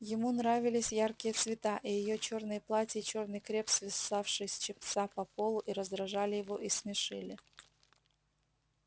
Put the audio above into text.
ему нравились яркие цвета и её чёрные платья и чёрный креп свисавший с чепца до полу и раздражали его и смешили